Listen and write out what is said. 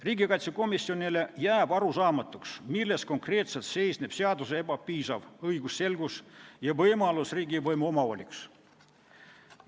Riigikaitsekomisjonile jääb arusaamatuks, milles konkreetselt seisneb seaduse ebapiisav õigusselgus ja võimalus riigivõimu omavoliks.